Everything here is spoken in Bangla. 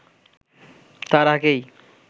তার আগেই